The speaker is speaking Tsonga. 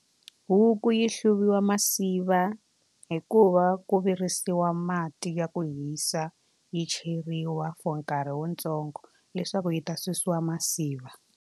Huku yi hluvisiwa masiva hikuva ku virisiwa mati ya ku hisa yi cheriwa for nkarhi wu ntsongo leswaku yi ta susiwa masiva.